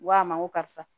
N ko a ma n ko karisa